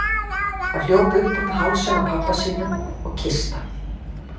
Hann hljóp upp um hálsinn á pabba sínum og kyssti hann.